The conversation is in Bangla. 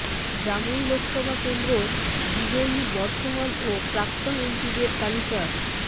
জামুই লোকসভা কেন্দ্র বিজয়ী বর্তমান ও প্রাক্তন এমপিদের তালিকা